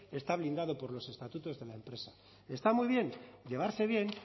está blindado por los estatutos de la empresa está muy bien llevarse bien